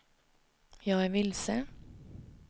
jag är vilse